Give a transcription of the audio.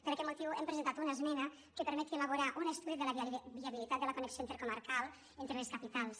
per aquest motiu hem presentat una esmena que permeti elaborar un estudi de la viabilitat de la connexió intercomarcal entre les capitals